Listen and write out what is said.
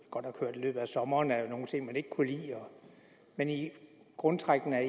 godt nok i løbet af sommeren at var nogle ting man ikke kunne lide men i grundtrækkene er